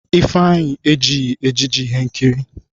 Ifeanyi ejighi ejiji ihe nkiri.